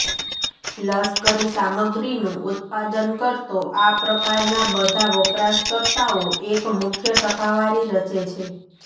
લશ્કરી સામગ્રીનું ઉત્પાદન કરતો આ પ્રકારના બધા વપરાશકર્તાઓ એક મુખ્ય ટકાવારી રચે છે